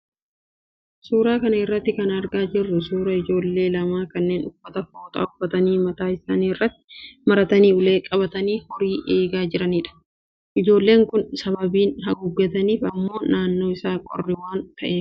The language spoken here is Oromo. Suuraa kana irraa kan argaa jirru suuraa ijoollee lama kanneen uffata fooxaa uffatanii mataa isaanii irrattis maratanii ulee qabatanii horii eegaa jiranidha. Ijoolleen kun sababiin haguuggataniif immoo naannoon isaa qorraa waan ta'eefi.